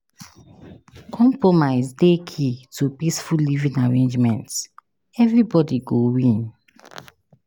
Compromise dey key to peaceful living arrangements; everybody go win.